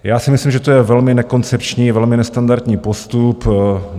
Já si myslím, že to je velmi nekoncepční, velmi nestandardní postup.